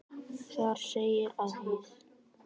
Þar segir að hið